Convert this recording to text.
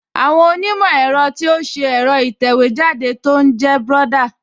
Àwọn onímọ̀ ẹ̀rọ ti ṣe ẹ̀rọ ìtẹ̀wéjáde tó ń jẹ́ Brother